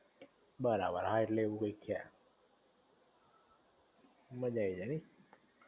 બરાબર હા એટલે આવું કઈક છે મજા આઈ જાઇ હે એમ?